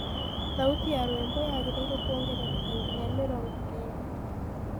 thaũtĩ ya rwĩmbo yagiriirwo kuongerereka nginya mĩrongo kenda